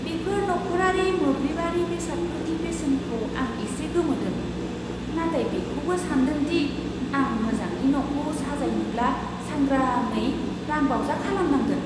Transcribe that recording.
बेफोर नखरारि मोब्लिबारि बेसादफोरनि बेसेनखौ आं एसे गोमोदों, नाथाय बेखौबो सान्दों दि आं मोजाङै न'खौ साजायनोब्ला सांग्राङै रांबावजा खालामनांगोन!